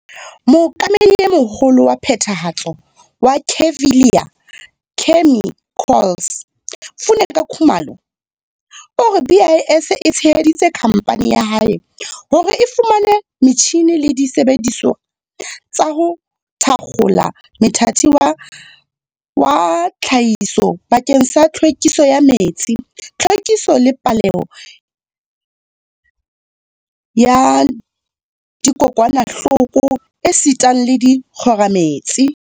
Mookamedi e moholo wa Phethahatso wa Kevali Chemicals, Funeka Khumalo, o re BIS e tsheheditse khamphane ya hae hore e fumane metjhine le disebedisuwa tsa ho thakgola mothati wa tlhahiso bakeng sa tlhwekiso ya metsi, tlhwekiso le polao ya dikokwanahloko esitang le dikgomaretsi.